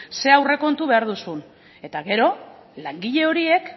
ze aurrekontu behar duzun eta gero langile horiek